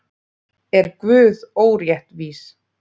Er Guð óréttvís?